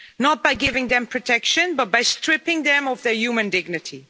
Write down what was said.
Not by giving them protection but by stripping them of their human dignity.